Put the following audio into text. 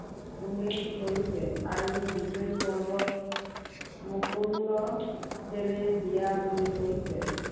উল্লেখ কৰিছে। আৰু বিজয়ী পৰ্বত মুকন্দ দেৱে দিয়া বুলি কৈছে।